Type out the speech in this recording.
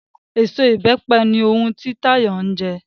Eso Ìbẹ́pẹ ni ohun ti Táyọ̀ ń jẹ